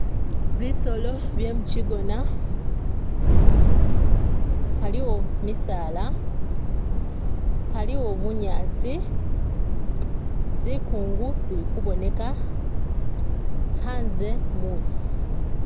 Bisolo bye mu kigona, haliwo misaala, haliwo bunyasi, zikungu zili kuboneka, h'anze musi